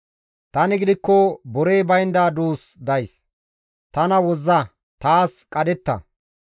Tani gidikko borey baynda duus days; tana wozza; taas qadhetta.